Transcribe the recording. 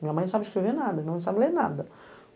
Minha mãe não sabe escrever nada, não sabe ler nada.